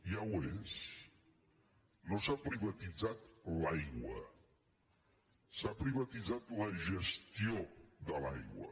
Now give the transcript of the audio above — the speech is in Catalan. ja ho és no s’ha privatitzat l’aigua s’ha priva·titzat la gestió de l’aigua